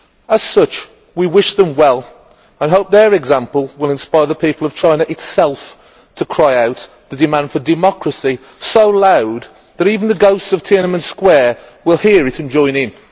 As such we wish them well and hope their example will inspire the people of China itself to cry out the demand for democracy so loud that even the ghosts of Tiananmen Square will hear it and join in.